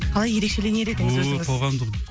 қалай ерекшеленер едіңіз өзіңіз ой қоғамдық